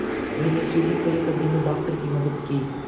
मैंने सीढ़ी खड़े करने में डॉक्टर की मदद की